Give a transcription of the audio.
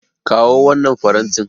Kawo wannan farantin.